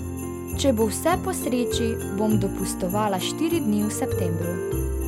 Če bo vse po sreči, bom dopustovala štiri dni v septembru.